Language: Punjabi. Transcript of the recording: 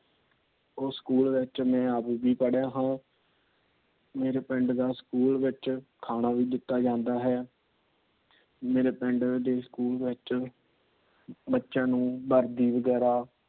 ਉਸ ਸਕੂਲ ਵਿੱਚ ਮੈ ਆਪ ਵੀ ਪੜਿਆ ਹਾਂ। ਮੇਰੇ ਪਿੰਡ ਦਾ ਸਕੂਲ ਵਿੱਚ ਖਾਣਾ ਵੀ ਦਿੱਤਾ ਜਾਂਦਾ ਹੈ। ਮੇਰੇ ਪਿੰਡ ਦੇ ਸਕੂਲ ਵਿੱਚ ਬੱਚਿਆਂ ਨੂੰ ਵਰਦੀ ਵਗ਼ੈਰਾ